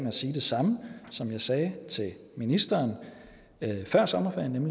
at sige det samme som jeg sagde til ministeren før sommerferien